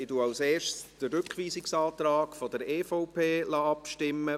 Zuerst lasse ich über den Rückweisungsantrag der EVP abstimmen.